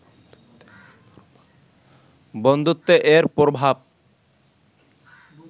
বন্ধুত্বে এর প্রভাব